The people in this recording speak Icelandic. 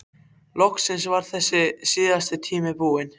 Loksins var þessi síðasti tími búinn.